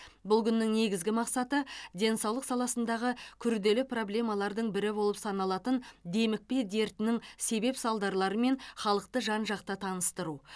бұл күннің негізгі мақсаты денсаулық саласындағы күрделі проблемалардың бірі болып саналатын демікпе дертінің себеп салдарларымен халықты жан жақты таныстыру